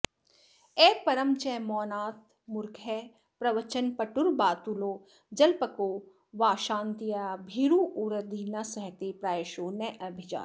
अपरं च मौनान्मूर्खः प्रवचनपटुर्बातुलो जल्पको वा क्षान्त्या भीरुर्यदि न सहते प्रायशो नाभिजातः